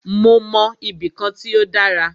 Mó mọ ibì kan tí o dára.